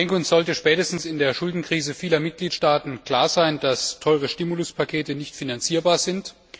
Uns sollte spätestens in der Schuldenkrise vieler Mitgliedstaaten klar sein, dass teure Stimuluspakete nicht finanzierbar sind.